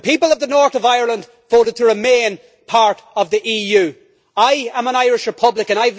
The people of the North of Ireland voted to remain part of the EU. I am an Irish Republican.